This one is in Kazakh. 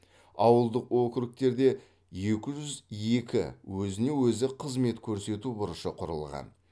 ауылдық округтерде екі жүз екі өзіне өзі қызмет көрсету бұрышы құрылған